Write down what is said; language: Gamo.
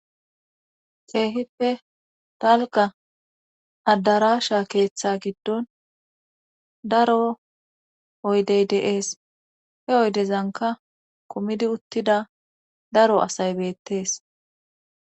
Keehippe talga addarasha keeththe giddon daro oydey deees he oydezanka komidi uttida daro asay beettees.